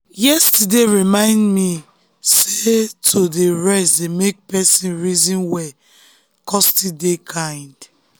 yesterday remind me sey to dey rest dey make person reason well kon still dey kind